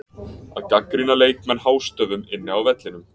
Að gagnrýna leikmenn hástöfum inni á vellinum?